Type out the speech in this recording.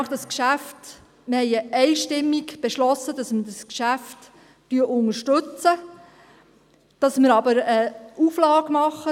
Wir haben einstimmig beschlossen, dass wir dieses Geschäft unterstützen, dass wir aber eine Auflage machen;